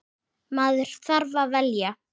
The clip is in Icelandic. Maður þarf að velja.